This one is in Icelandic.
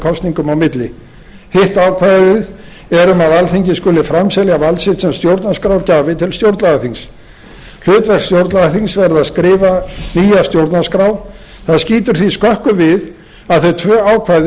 kosningum á milli hitt ákvæðið er um að alþingi skuli framselja vald sitt sem stjórnarskrárgjafi til stjórnlagaþings hlutverk stjórnlagaþings verði að skrifa nýja stjórnarskrá það skýtur því skökku við að þau tvö ákvæði